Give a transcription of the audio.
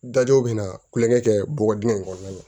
Dajɔ bɛna tulonkɛ kɛ bɔgɔ dingɛ in kɔnɔna na